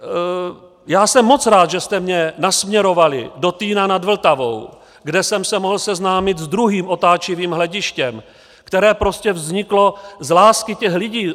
Já jsem moc rád, že jste mě nasměrovali do Týna nad Vltavou, kde jsem se mohl seznámit s druhým otáčivým hledištěm, které prostě vzniklo z lásky těch lidí.